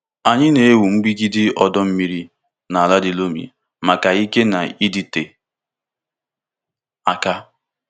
Anyị na-ewu mgbidi ọdọ mmiri na ala di loamy maka ike na ịdịte aka.